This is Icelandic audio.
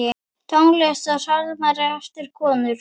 Tónlist og sálmar eftir konur.